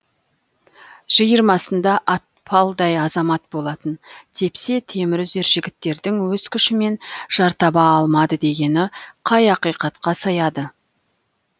жиырмасында атпалдай азамат болатын тепсе темір үзер жігіттердің өз күшімен жар таба алмадым дегені қай ақиқатқа сыяды